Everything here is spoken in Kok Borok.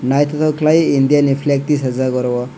naitotok kelai india ni flake tisajak oro o.